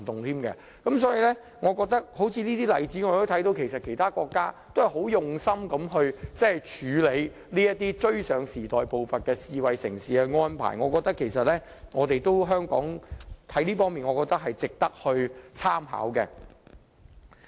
所以，從這個例子可以看到，其他國家也是很用心地處理這些追上時代步伐、符合智慧城市發展的安排，我覺得這方面值得香港參考。